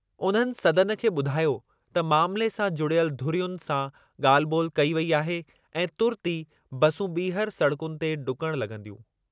उन्हनि सदन खे ॿुधायो त मामिले सां जुड़ियल धुरियुनि सां ॻाल्हि ॿोलि कई वेई आहे ऐं तुर्तु ई बसूं ॿीहर सड़कुनि ते ढुकण लॻंदियूं।